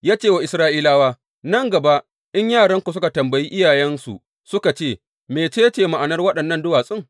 Ya ce wa Isra’ilawa, Nan gaba in yaranku suka tambayi iyayensu suka ce, Mece ce ma’anar waɗannan duwatsun?’